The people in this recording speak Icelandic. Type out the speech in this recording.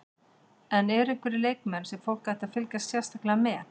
En eru einhverjir leikmenn sem fólk ætti að fylgjast sérstaklega með?